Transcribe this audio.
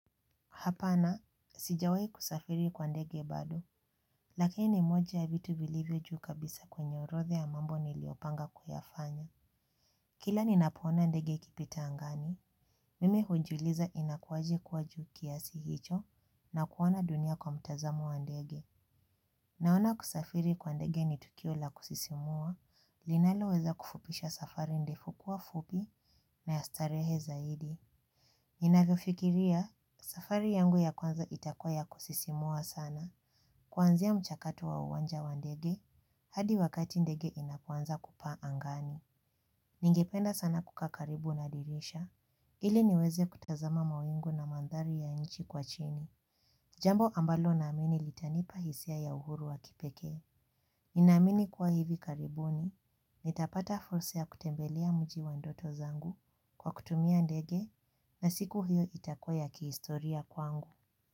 Hapana, sijawahi kusafiri kwa ndege bado, lakini ni moja ya vitu vilivyo juu kabisa kwenye orodha ya mambo niliyopanga kuyafanya. Kila ninapoona ndege ikipita angani, mimi hujiuliza inakuaje kuwa juu kiasi hicho na kuona dunia kwa mtazamo wa ndege. Naona kusafiri kwa ndege ni tukio la kusisimua, linaloweza kufupisha safari ndefu kuwa fupi na ya starehe zaidi. Ninavyofikiria safari yangu ya kwanza itakuwa ya kusisimua sana. Kuanzia mchakato wa uwanja wa ndege hadi wakati ndege inapoanza kupaa angani ningependa sana kukaa karibu na dirisha ili niweze kutazama mawingu na mandhari ya nchi kwa chini. Jambo ambalo naamini litanipa hisia ya uhuru wa kipekee. Ninaamini kuwa hivi karibuni nitapata fursa ya kutembelea mji wa ndoto zangu kwa kutumia ndege na siku hiyo itakuwa ya kihistoria kwangu.